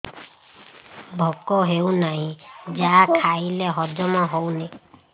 ଭୋକ ହେଉନାହିଁ ଯାହା ଖାଇଲେ ହଜମ ହଉନି